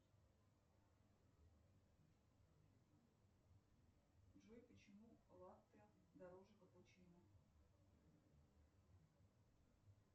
джой почему латте дороже капучино